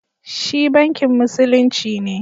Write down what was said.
Shi Bankin Musulunci ne